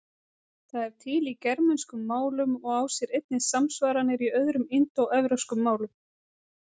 Það er til í germönskum málum og á sér einnig samsvaranir í öðrum indóevrópskum málum.